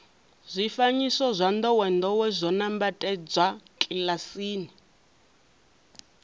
zwifanyiso zwa ndowendowe zwo nambatsedzwa kilasini